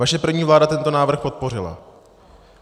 Vaše první vláda tento návrh podpořila.